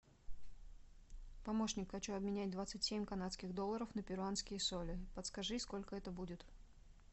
помощник хочу обменять двадцать семь канадских долларов на перуанские соли подскажи сколько это будет